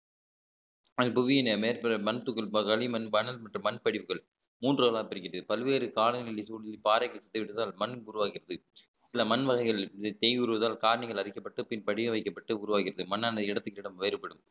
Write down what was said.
புவியின் மேற்பரப்பு மற்றும் மண்படிப்புகள் மூன்றாவதா பிரிக்கிறது பல்வேறு காலங்களில் பாறைக்கு சுத்த விட்டதால் மண் உருவாகிறது சில மண் வகைகள் இது தேய்வதால் காரின்ங்கள் அரிக்கப்பட்டு பின் படிய வைக்கப்பட்டு உருவாகிறது மண் இடத்துக்கு இடம் வேறுபடும்